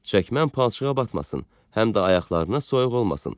Çəkməm palçığa batmasın, həm də ayaqlarına soyuq olmasın.